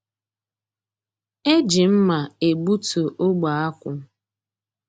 E ji mma e gbutu ogbe akwụ.